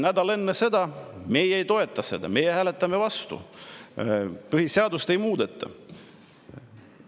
Nädal enne seda: meie ei toeta seda, meie hääletame vastu, põhiseadust ei muudeta!